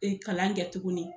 E kalan kɛ tukuni.